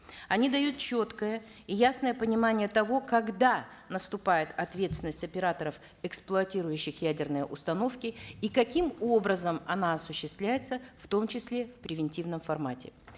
они дают четкое и ясное понимание того когда наступает ответственность операторов эксплуатирующих ядерные установки и каким образом она осуществляется в том числе в превентивном формате